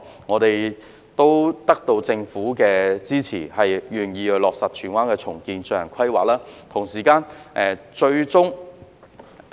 我們最終得到政府的支持，願意落實荃灣重建計劃，並就此進行規劃。